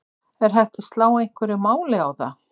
Er hægt að slá einhverju máli á það?